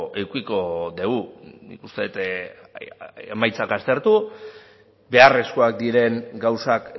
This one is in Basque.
edukiko dugu nik uste dut emaitzak aztertu beharrezkoak diren gauzak